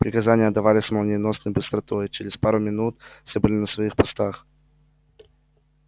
приказания отдавались с молниеносной быстротой и через пару минут все были на своих постах